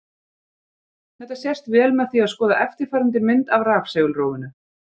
Þetta sést vel með því að skoða eftirfarandi mynd af rafsegulrófinu: